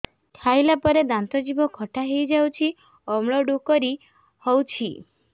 ଖାଇଲା ପରେ ଦାନ୍ତ ଜିଭ ଖଟା ହେଇଯାଉଛି ଅମ୍ଳ ଡ଼ୁକରି ହଉଛି